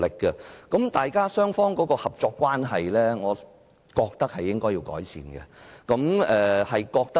我覺得雙方的合作關係是需要改善的。